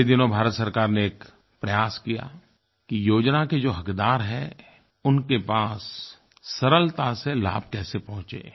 पिछले दिनों भारत सरकार ने एक प्रयास किया कि योजना के जो हक़दार हैं उनके पास सरलता से लाभ कैसे पहुँचे